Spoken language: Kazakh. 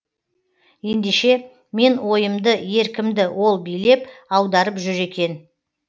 ендеше мен ойымды еркімді ол билеп аударып жүр екен